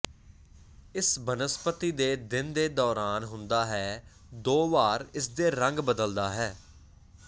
ਇਸ ਬਨਸਪਤੀ ਦੇ ਦਿਨ ਦੇ ਦੌਰਾਨ ਹੁੰਦਾ ਹੈ ਦੋ ਵਾਰ ਇਸ ਦੇ ਰੰਗ ਬਦਲਦਾ ਹੈ